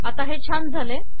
आता हे छान झाले